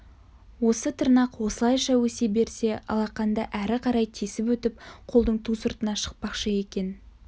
осы тырнақ осылайша өсе берсе алақанды әрі қарай тесіп өтіп қолдың ту сыртына шықпақшы екен